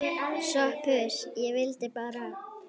SOPHUS: Ég vildi bara.